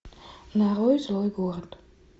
нарой злой город